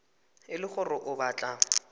e le gore o batla